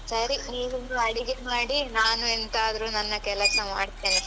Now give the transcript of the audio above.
ಸರಿ ನೀವಿನ್ನು ಅಡಿಗೆ ಮಾಡಿ ನಾನು ಎಂತಾದ್ರೂ ನನ್ನ ಕೆಲಸ ಮಾಡ್ತೇನೆ.